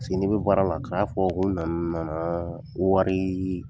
Paseke ni bɛ baara la kana fɔ ko n nana n nana ko wari